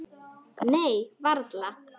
Nei, varla.